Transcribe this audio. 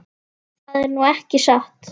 Það er nú ekki satt.